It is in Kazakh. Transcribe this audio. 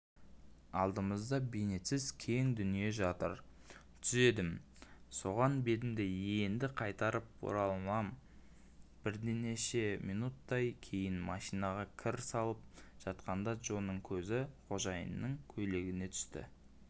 алдымызда бейнетсіз кең дүние жатыр түзедім соған бетімді енді қайтып оралманбірнеше минуттен кейін машинаға кір салып жатқанда джоның көзі қожайынның көйлегіне түсіп